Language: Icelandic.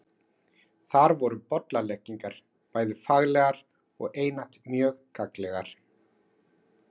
Þar voru bollaleggingar bæði faglegar og einatt mjög gagnlegar.